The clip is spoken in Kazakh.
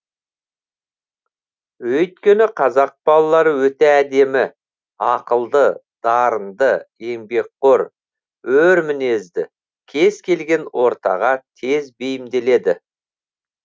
өйткені қазақ балалары өте әдемі ақылды дарынды еңбекқор өр мінезді кез келген ортаға тез бейімделеді